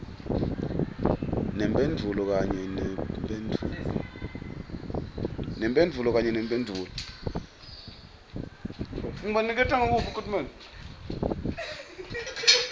nemphendvulo kanye nemphendvulo